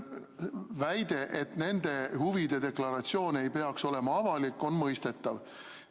Väide, et nende huvide deklaratsioon ei peaks olema avalik, on mõistetav.